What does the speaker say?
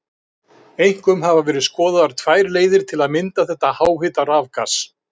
Einkum hafa verið skoðaðar tvær leiðir til að mynda þetta háhita rafgas.